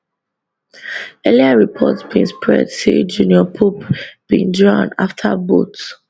earlier report bin spread say junior pope bin drown afta boat